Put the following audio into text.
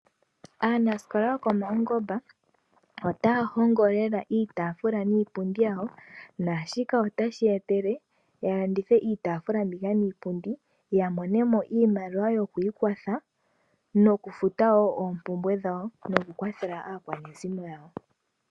Aanasikola yokomaungomba otaya hongo lela iitaafula niipundi yawo, naashika otashi ya etele ya landithe iitaafula mbika niipundi ya mone mo iimaliwa yoku ikwathwa nokufuta wo oompumbwe dhawo noku kwathela aakwanezimo yawo.